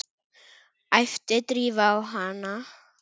æpti Drífa á hana.